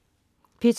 P2: